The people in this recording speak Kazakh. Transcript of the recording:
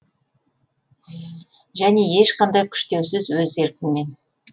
және ешқандай күштеусіз өз еркіңмен